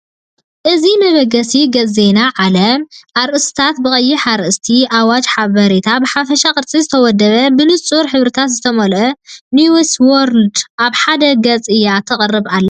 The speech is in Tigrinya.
እዚ መበገሲ ገጽ ዜና ዓለም፤ ኣርእስታት ብቐይሕ ኣርእስታት፡ ኣዋጃትን ሓበሬታን ብሓፈሻዊ ቅርጺ ዝተወደበ። ብንጹር ሕብርታት ዝተመልአት ኒውስ ዎርልድ ኣብ ሓደ ገጽ እያ ትቐርብ ኣላ።